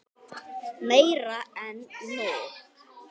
Meira en nóg.